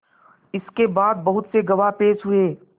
इसके बाद बहुत से गवाह पेश हुए